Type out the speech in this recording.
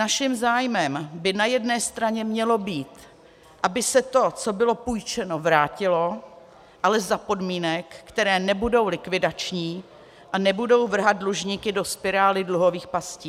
Naším zájmem by na jedné straně mělo být, aby se to, co bylo půjčeno, vrátilo, ale za podmínek, které nebudou likvidační a nebudou vrhat dlužníky do spirály dluhových pastí.